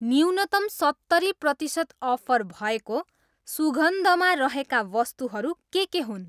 न्यूनतम सत्तरी प्रतिसत अफर भएको सुगन्ध मा रहेका वस्तुहरू के के हुन्?